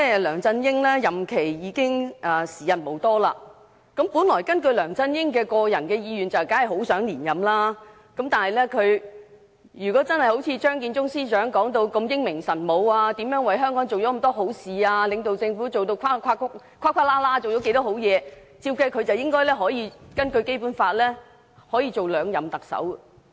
梁振英已經時日無多，本來根據他個人的意願，當然很想連任，但如果他真的好像張建宗司長說的如此英明神武、為香港做了許多好事，又領導政府做了值得讚賞的好事，他理應可以根據《基本法》擔任兩任特首。